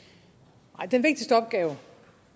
nej den ubestridt vigtigste opgave